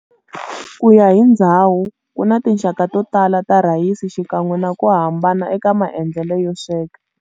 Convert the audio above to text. Kuya hi ndzhawu, kuna tinxaka totala ta rhayisi xikan'we naku hambana eka maendlelo yo sweka.